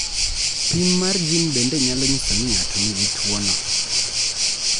Pim mar jin bende nyalo nyiso ni ng�ato nigi tuono.